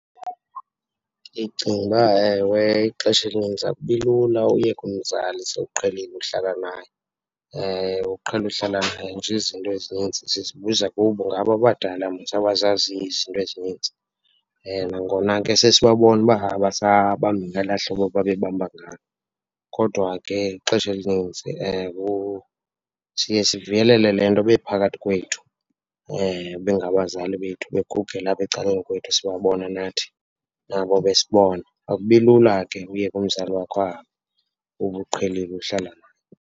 Ndicinga uba, ewe, ixesha elinintsi akubi lula uyeka umzali sowuqhelile ukuhlala naye, uqhele uhlala naye. Nje izinto ezinintsi sizibuza kubo, ngabo abadala mos abazaziyo izinto ezinintsi. Nangona ke sesibabona uba abasabambi ngelaa hlobo babe bamba ngalo. Kodwa ke ixesha elinintsi siye sivuyelele le nto bephakathi kwethu bengabazali bethu, begugela apha ecaleni kwethu, sibabona nathi nabo besibona. Akubi lula ke uyeka umzali wakho ahambe ube uqhelile uhlala naye.